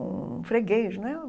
um freguês, né?